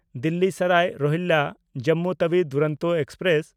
Delhi Sarai ᱨᱳᱦᱤᱞᱞᱟ–ᱡᱚᱢᱢᱩ Tawi Duronto express